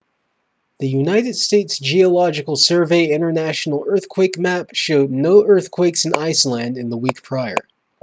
the united states geological survey international earthquake map showed no earthquakes in iceland in the week prior